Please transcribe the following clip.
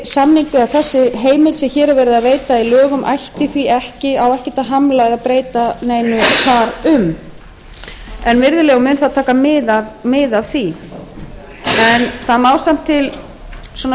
forseti þessi heimild sem hér er verið að veita í lögum á ekkert að hamla eða breyta neinu þar um og mun það taka mið af því en þá samt til